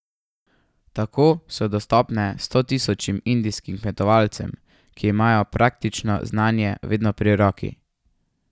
Tako so dostopne stotisočim indijskim kmetovalcem, ki imajo praktično znanje vedno pri roki.